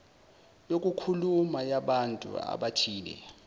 yokukhuluma yabantu abathile